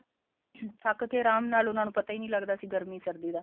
ਥੱਕ ਕੇ ਆਰਾਮ ਨਾਲ ਉਹਨਾਂ ਨੂੰ ਪਤਾ ਹੀ ਨੀ ਲੱਗਦਾ ਸੀ ਗਰਮੀ ਸਰਦੀ ਦਾ